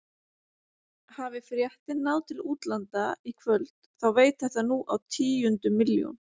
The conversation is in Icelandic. Hafi fréttin náð til útlanda í kvöld þá veit þetta nú á tíundu milljón.